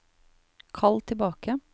kall tilbake